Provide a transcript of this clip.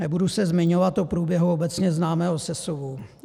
Nebudu se zmiňovat o průběhu obecně známého sesuvu.